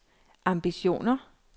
ambitioner